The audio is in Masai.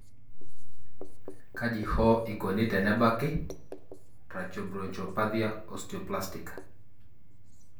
kaji hoo ikoni tenebaki tracheobronchopathia osteoplastica?